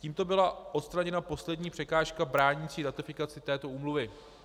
Tímto byla odstraněna poslední překážka bránící ratifikaci této úmluvy.